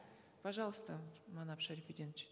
пожалуйста манап шарапиденович